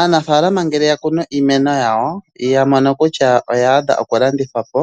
Aanafaalama ngele yakunu iimeno yawo etaya mono kutya oya adha okulandithwa po